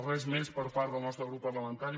res més per part del nostre grup parlamentari